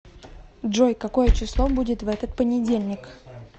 джой какое число будет в этот понедельник